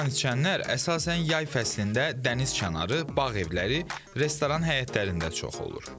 Bu qanı içənlər əsasən yay fəslində dəniz kənarı, bağ evləri, restoran həyətlərində çox olur.